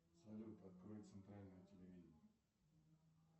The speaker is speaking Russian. салют открой центральное телевидение